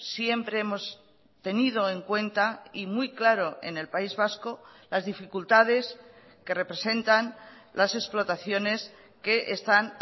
siempre hemos tenido en cuenta y muy claro en el país vasco las dificultades que representan las explotaciones que están